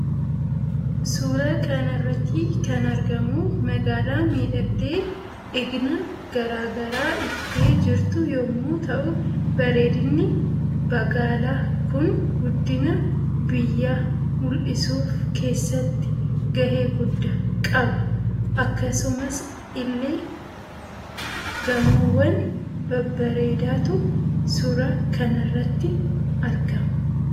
Suuraa kanarratti kan argamu magaala miidhagdee igna garaa garaa iftee jirtu yommuu ta'u bareedinni bagaala Kun guddina biyya mul'isuuf kessatti gahe gudda qaba akkasumas ille gamoowwan babbareedaatu suura kanarratti argama